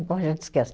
a gente esquece.